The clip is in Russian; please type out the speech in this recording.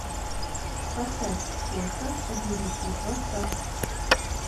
поставь кошка о девяти хвостах